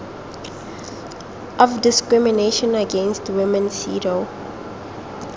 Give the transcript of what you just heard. of discrimination against women cedaw